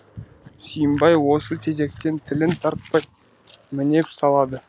сүйімбай осы тезектен тілін тартпай мінеп салады